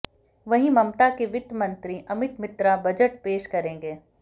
वहीं ममता के वित्त मंत्री अमित मित्रा बजट पेश करेंगे